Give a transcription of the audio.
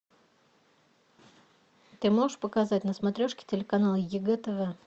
ты можешь показать на смотрешке телеканал егэ тв